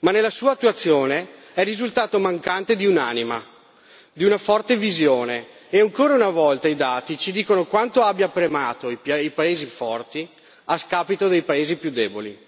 ma nella sua attuazione è risultato mancante di un'anima e di una forte visione e ancora una volta i dati ci dicono quanto abbia premiato i più i paesi forti a scapito dei paesi più deboli.